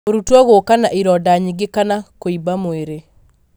mũrutwo gũka na ironda nyingĩ kana kũimba mwĩrĩ.